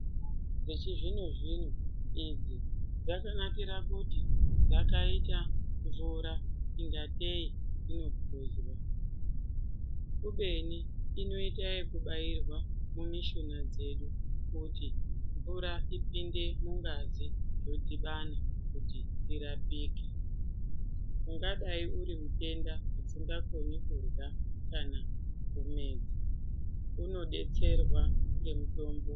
Mitombo dzechizvino zvino idzi dzakanakire kuti dzakaite mvura ingatei inopuzwa kubeni inoite ekubairwa mumishuna dzedu kuti mvura ipinde mungazi dzodhibana kuti urapike. Ungadayi uri mutenda usingagoni kurya kana kumedza. Unodetserwa ngemitombo.